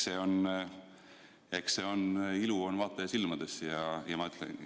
Eks ilu on vaataja silmades.